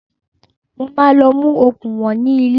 Mo máa lọ mú okùn ìwọ̀n ní ilé